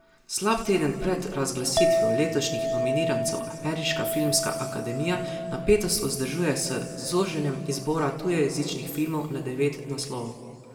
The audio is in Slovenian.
Slab teden pred razglasitvijo letošnjih nominirancev Ameriška filmska akademija napetost vzdržuje s zoženjem izbora tujejezičnih filmov na devet naslovov.